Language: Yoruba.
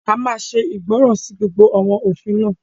A máa ṣe ìgbọràn sí gbogbo àwọn òfin náà